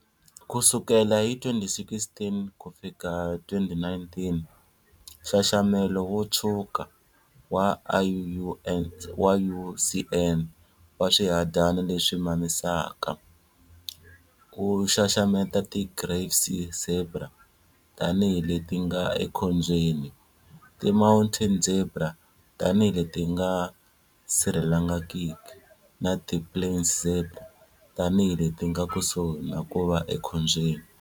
Kusukela hi 2016-2019, Nxaxamelo wo Tshwuka wa IUCN wa swihadyani leswi mamisaka wu xaxameta ti Grévy's zebra tani hi leti nga ekhombyeni, ti mountain zebra tani hi leti nga sirhelelekangiki na ti plains zebra tani hi leti nga kusuhi na ku va ekhombyeni.